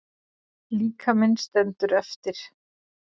Líkaminn stendur eftir.